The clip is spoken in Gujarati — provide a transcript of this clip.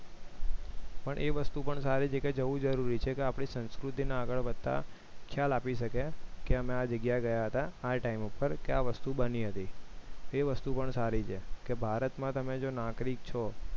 પણ એ વસ્તુ પણ સારી છે કે જવું જરૂરી છે આપણી સંસ્કૃતિને આગળ વધતા ખ્યાલ આપી શકે કે મેં આ જગ્યાએ ગયા હતા આ time ઉપર આ વસ્તુ બની હતી એ વસ્તુ પણ સારી છે કે ભારત માં નાગરિક છો